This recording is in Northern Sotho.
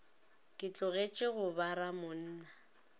ke tlogetše go ba ramonna